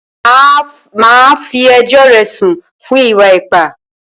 Màá fí ẹjọ́ rẹ̀ sùn fún ìwà ipá!